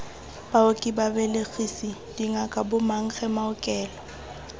baoki babelegisi dingaka bomankge maokelo